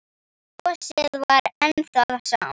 Brosið var enn það sama.